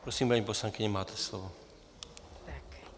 Prosím, paní poslankyně, máte slovo.